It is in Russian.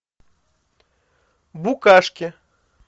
букашки